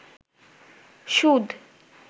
সুদ